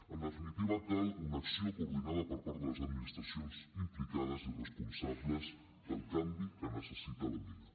en definitiva cal una acció coordinada per part de les administracions implicades i responsables del canvi que necessita la mina